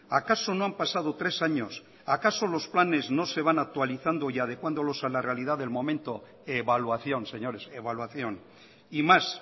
acaso no han pasado tres años acaso los planes no se van a actualizando y adecuándolos a la realidad del momento evaluación señores evaluación y más